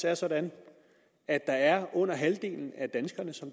er sådan at at under halvdelen